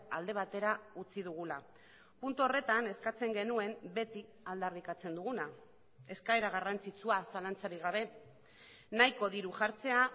alde batera utzi dugula puntu horretan eskatzen genuen beti aldarrikatzen duguna eskaera garrantzitsua zalantzarik gabe nahiko diru jartzea